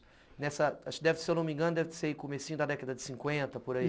Nessa... acho que deve ser, se eu não me engano, comecinho da década de cinquenta, por aí.